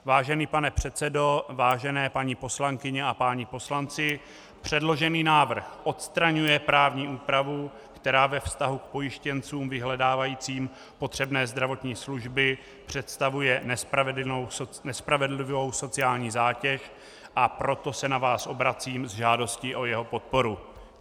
Vážený pane předsedo, vážené paní poslankyně a páni poslanci, předložený návrh odstraňuje právní úpravu, která ve vztahu k pojištěnců vyhledávajícím potřebné zdravotní služby představuje nespravedlivou sociální zátěž, a proto se na vás obracím s žádostí o jeho podporu.